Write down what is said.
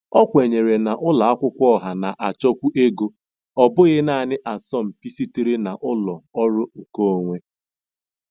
O kwenyere na ụlọ akwụkwọ ọha na-achọkwu ego, ọ bụghị naanị asọmpi sitere na ụlọ ọrụ nkeonwe.